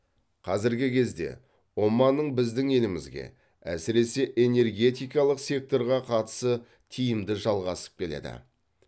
қазіргі кезде оманның біздің елімізге әсіресе энергетикалық секторға қатысы тиімді жалғасып келеді